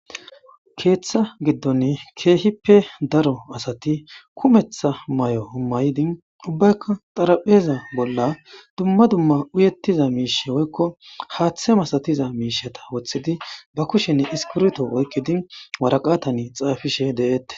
keeththa giddon ke'hippe daro asati kumeeththa may'o homaydi ubbaykka xaraphpheza bolla dumma dumma uyettiza miishe woykko haaththe masatiza miishata woththidi ba kushenne iskiritto oykkidi waraqatani xaafishshe de'etees